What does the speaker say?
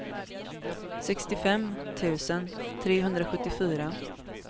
sextiofem tusen trehundrasjuttiofyra